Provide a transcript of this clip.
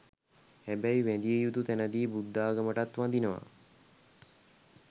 හැබැයි වැදිය යුතු තැනදි බුද්ධාගමටත් වදිනවා.